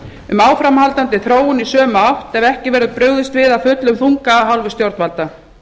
um áframhaldandi þróun í sömu átt ef ekki verður brugðist við af fullum þunga af hálfu stjórnvalda